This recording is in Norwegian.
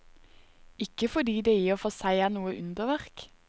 Ikke fordi det i og for seg er noe underverk.